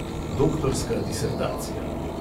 Doktorska disertacija.